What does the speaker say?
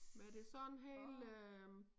Hvad er det så en hel øh